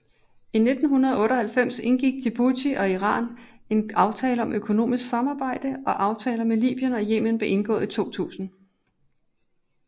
I 1998 indgik Djibouti og Iran en aftale om økonomisk samarbejde og aftaler med Libyen og Yemen blev indgået 2000